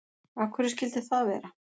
Af hverju skyldi það vera?